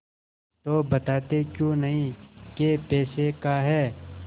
तो बताते क्यों नहीं कै पैसे का है